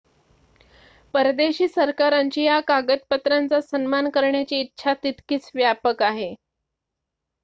परदेशी सरकारांची या कागदपत्रांचा सन्मान करण्याची इच्छा तितकीच व्यापक आहे